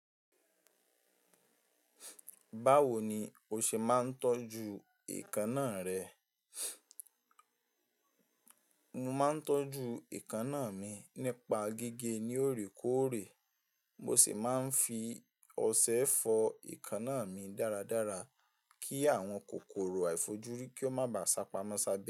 Báwo ni o ṣe máa ń tọ́jú èékánná rẹ? Mo máa ń tọ́jú èékánná mi nípa gígé ní òrèkóòrè, mo sì máa ń fi ọṣẹ fọ èékánná mi dáradára kí àwọn kòkòrò àìfojúrí kí ó má ba à sápamọ́ sábẹ́.